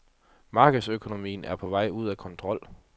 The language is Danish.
Markedsøkonomien er på vej ud af kontrol.